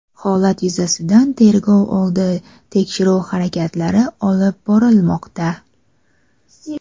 Holat yuzasidan tergov oldi tekshiruv harakatlari olib borilmoqda.